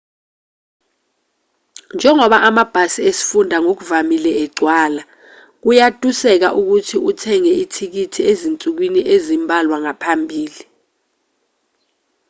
njengoba amabhasi esifunda ngokuvamile egcwala kuyatuseka ukuthi uthenge ithikithi ezinsukwini ezimbalwa ngaphambili